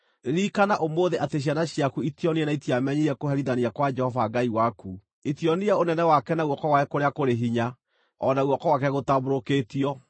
Ririkana ũmũthĩ atĩ ciana ciaku itionire na itiamenyire kũherithania kwa Jehova Ngai waku: o na itionire ũnene wake na guoko gwake kũrĩa kũrĩ hinya, o na guoko gwake gũtambũrũkĩtio;